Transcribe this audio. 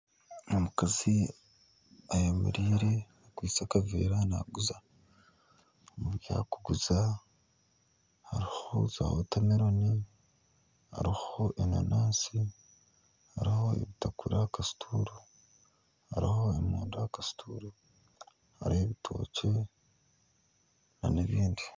Omukazi eyemereire akwitse akaveera naaguza, ebi arikuguza harimu za wotameloni, hariho enaanasi hariho ebitakuri aha kasituuru, hariho emonde aha kasituuru, hariho ebitookye nana ebindi